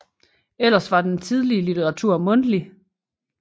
Ellers var den tidlige litteratur mundtlig